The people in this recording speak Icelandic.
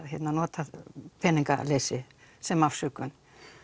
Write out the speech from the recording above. nota peningaleysi sem afsökun